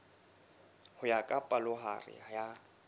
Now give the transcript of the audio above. ho ya ka palohare ya